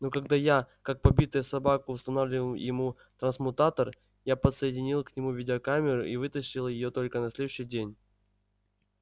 но когда я как побитая собака устанавливал ему трансмутатор я подсоединил к нему видеокамеру и вытащил её только на следующий день